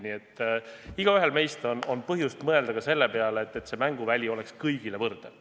Nii et igaühel meist on põhjust mõelda ka selle peale, et see mänguväli oleks kõigile võrdne.